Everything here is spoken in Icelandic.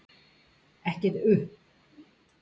Ekkert uhh.